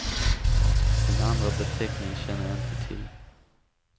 Den andra beteckningen känner jag inte till.